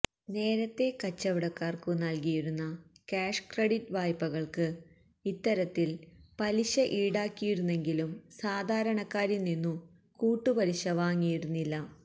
നേരത്തേ കച്ചവടക്കാർക്കു നൽകിയിരുന്ന കാഷ് ക്രെഡിറ്റ് വായ്പകൾക്ക് ഇത്തരത്തിൽ പലിശ ഈടാക്കിയിരുന്നെങ്കിലും സാധാരണക്കാരിൽ നിന്നു കൂട്ടുപലിശ വാങ്ങിയിരുന്നില്ല